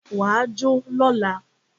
Wà á jó lọla!